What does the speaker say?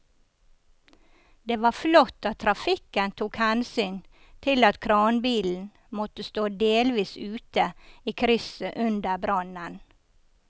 Det var flott at trafikken tok hensyn til at kranbilen måtte stå delvis ute i krysset under brannen.